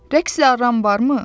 Rəqs edən varmı?